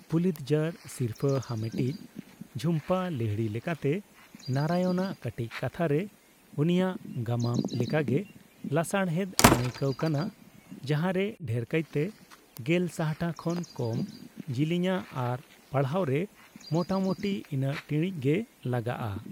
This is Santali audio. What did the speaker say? ᱯᱩᱞᱤᱛᱡᱟᱨ ᱥᱤᱨᱯᱷᱟᱹ ᱦᱟᱢᱮᱴᱤᱡ ᱡᱷᱩᱢᱯᱟᱹ ᱞᱟᱦᱤᱲᱤ ᱞᱮᱠᱟᱛᱮ, ᱱᱟᱨᱟᱭᱚᱱᱟᱜ ᱠᱟᱹᱴᱤᱡ ᱠᱟᱛᱷᱟ ᱨᱮ ᱩᱱᱤᱭᱟᱜ ᱜᱟᱢᱟᱢ ᱞᱮᱠᱟᱜᱮ ᱞᱟᱥᱟᱲᱦᱮᱫ ᱟᱹᱱᱟᱭᱠᱟᱹᱣ ᱠᱟᱱᱟ, ᱡᱟᱸᱦᱟᱨᱮ ᱰᱷᱮᱨᱠᱟᱭᱛᱮ ᱜᱮᱞ ᱥᱟᱦᱴᱟ ᱠᱷᱚᱱ ᱠᱚᱢ ᱡᱤᱞᱤᱧᱟ ᱟᱨ ᱯᱟᱲᱦᱟᱣ ᱨᱮ ᱢᱚᱴᱟᱢᱚᱴᱤ ᱤᱱᱟᱹᱜ ᱴᱤᱲᱤᱡ ᱜᱮ ᱞᱟᱜᱟᱜᱼᱟ ᱾